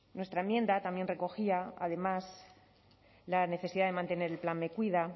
nuestra enmienda también recogía además la necesidad de mantener el plan me cuida